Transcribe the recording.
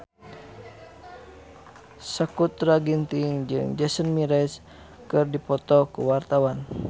Sakutra Ginting jeung Jason Mraz keur dipoto ku wartawan